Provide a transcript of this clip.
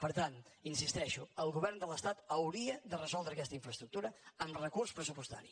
per tant hi insisteixo el govern de l’estat hauria de resoldre aquesta infraestructura amb recurs pressu·postari